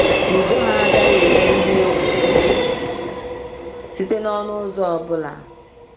Udo ha agaghị enwe ihe egwu site n’ọnụ ụzọ ọ bụla